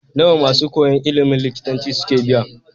Nawa masu koyan ilimin likitanci suke biya?